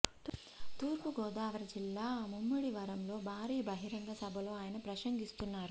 తూర్పుగోదావరి జిల్లా ముమ్మిడి వరంలో భారీ బహిరంగ సభలో ఆయన ప్రసంగిస్తున్నారు